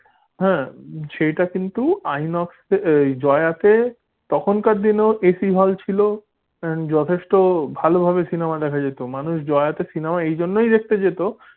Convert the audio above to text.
হ্যাঁ সেটা কিন্তু আইনক্সে এয় জয়াতে তখনকার দিনেও AC hall ছিল and যথেষ্ট ভালোভাবে cinema দেখা যেত মানুষ জয়াতে এই জন্যই cinema দেখতে যেত।